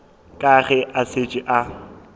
ka ge a šetše a